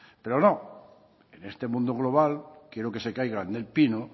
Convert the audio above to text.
pero no en este mundo global quiero que se caigan del pino